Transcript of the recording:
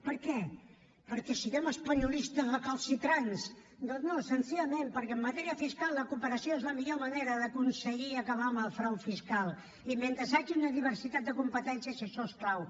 per què perquè siguem espanyolistes recalcitrants doncs no senzillament perquè en matèria fiscal la cooperació és la millor manera d’aconseguir acabar amb el frau fiscal i mentre hi hagi una diversitat de competències això és clau